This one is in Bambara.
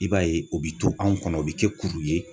I b'a ye o bɛ to anw kɔnɔ u bɛ kɛ kuru ye.